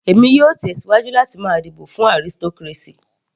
Èmi yóò tẹ̀síwájú láti máa dìbò fún aristocracy.